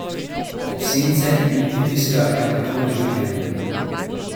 Ob sence mi pritiska hematom življenja.